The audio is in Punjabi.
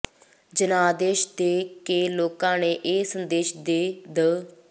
ਜਨਾਦੇਸ਼ ਦੇ ਕੇ ਲੋਕਾਂ ਨੇ ਇਹ ਸੰਦੇਸ਼ ਦੇ ਦ